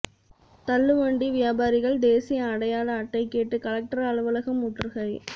தள்ளுவண்டி வியாபாரிகள் தேசிய அடையாள அட்டை கேட்டு கலெக்டர் அலுவலகம் முற்றுகை